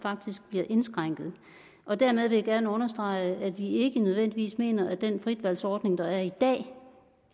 faktisk bliver indskrænket dermed vil jeg gerne understrege at vi ikke nødvendigvis mener at den fritvalgsordning der er i dag